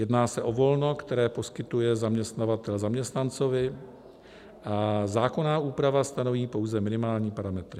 Jedná se o volno, které poskytuje zaměstnavatel zaměstnanci a zákonná úprava stanoví pouze minimální parametry.